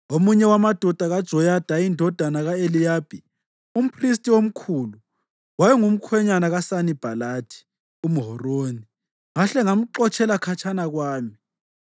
Omunye wamadodana kaJoyada indodana ka-Eliyashibi umphristi omkhulu wayengumkhwenyana kaSanibhalathi umHoroni. Ngahle ngamxotshela khatshana kwami.